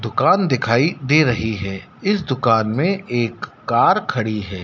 दुकान दिखाई दे रही है इस दुकान में एक कार खड़ी है।